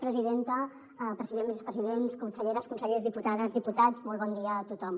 president vicepresidents conselleres consellers diputades diputats molt bon dia a tothom